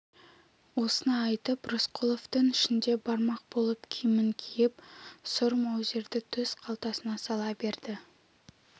осыны айтып рысқұлов түн ішінде бармақ болып киімін киіп сұр маузерді төс қалтасына сала берді